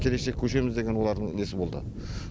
келешек көшеміз деген олардың несі болды